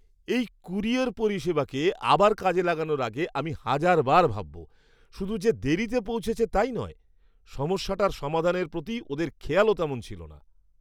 এই ক্যুরিয়র পরিষেবাকে আবার কাজে লাগানোর আগে আমি হাজারবার ভাববো। শুধু যে দেরিতে পৌঁছেছে তাই নয়, সমস্যাটার সমাধানের প্রতি ওদের খেয়ালও তেমন ছিল না।